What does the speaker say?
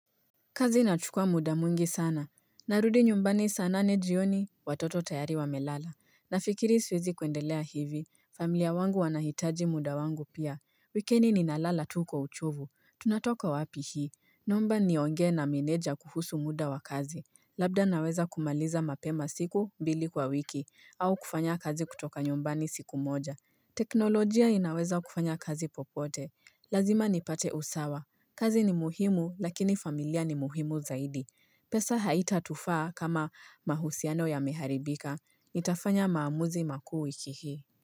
Kazi inachukua muda mwingi sana. Narudi nyumbani saa nane jioni. Watoto tayari wamelala. Nafikiri siwezi kuendelea hivi. Familia wangu wanahitaji muda wangu pia. Wikendi ninalala tu kwa uchovu. Tunatoka wapi hii. Naomba niongee na manager kuhusu muda wa kazi. Labda naweza kumaliza mapema siku mbili kwa wiki. Au kufanya kazi kutoka nyumbani siku moja. Teknolojia inaweza kufanya kazi popote. Lazima nipate usawa. Kazi ni muhimu lakini familia ni muhimu zaidi. Pesa haitatufaa kama mahusiano yameharibika. Nitafanya maamuzi makuu wiki hii.